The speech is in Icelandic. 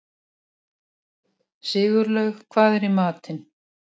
Sigurlaug, hvað er í matinn?